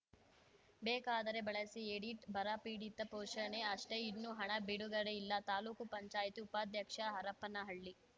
ಬೇಕಾದರೆ ಬಳಸಿ ಎಡಿಟ್‌ ಬರ ಪೀಡಿತ ಘೋಷಣೆ ಅಷ್ಟೆ ಇನ್ನೂ ಹಣ ಬಿಡುಗಡೆಯಿಲ್ಲ ತಾಲೂಕು ಪಂಚಾಯತಿ ಉಪಾಧ್ಯಕ್ಷ ಹರಪ್ಪನಹಳ್ಳಿ